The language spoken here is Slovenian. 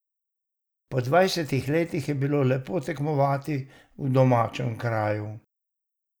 Po dvajsetih letih je bil lepo tekmovati v domačem kraju.